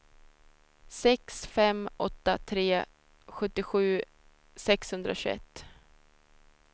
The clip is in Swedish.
sex fem åtta tre sjuttiosju sexhundratjugoett